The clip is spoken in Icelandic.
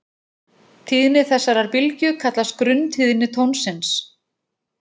Tíðni þessarar bylgju kallast grunntíðni tónsins.